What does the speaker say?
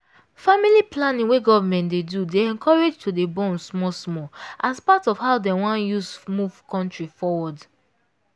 family planning wey government dey do dey encourage to dey born small small as part of how them wan use move country forward